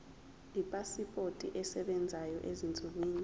ipasipoti esebenzayo ezinsukwini